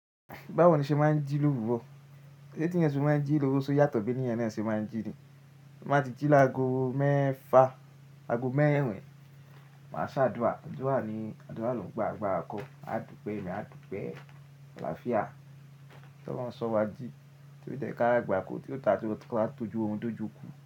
Báwo ni ṣe máa ń jí lówuró? Sé teeyan se máa ń jí lówuró ṣe oyàtọ̀ bí ènìyàn náà ṣe máa ń jí ni. Ti n bá ti jí láago mẹ́fa, aago mẹ́rin, máa ṣe ádúà. Adúà ni, àdúrà ló ń gba àgbàra kọ. A dúpẹ́ ẹ̀mí, a dúpẹ́ àlàáfíà. Tí Olorun sọ wá jí, tí ó de jẹ́ kí a ri agbàkó tí ó ta tí mó ko wa tọjú orun dó jùukú.